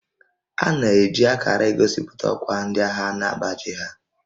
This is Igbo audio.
A na-eji akarà egosipụta ọkwá ndị agha na baajị ha